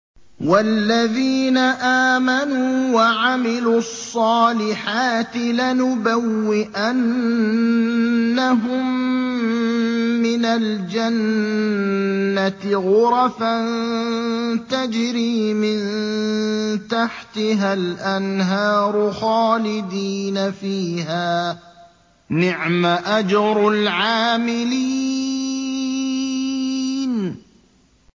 وَالَّذِينَ آمَنُوا وَعَمِلُوا الصَّالِحَاتِ لَنُبَوِّئَنَّهُم مِّنَ الْجَنَّةِ غُرَفًا تَجْرِي مِن تَحْتِهَا الْأَنْهَارُ خَالِدِينَ فِيهَا ۚ نِعْمَ أَجْرُ الْعَامِلِينَ